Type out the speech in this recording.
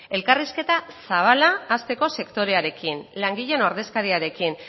elkarrizketa zabala hasteko sektorearekin langileen ordezkariarekin